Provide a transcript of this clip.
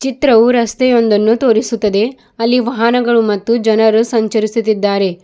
ಚಿತ್ರವು ರಸ್ತೆ ಒಂದನ್ನು ತೋರಿಸುತ್ತದೆ ಅಲ್ಲಿ ವಾಹನಗಳು ಮತ್ತು ಜನರು ಸಂಚರಿಸುತ್ತಿದ್ದಾರೆ.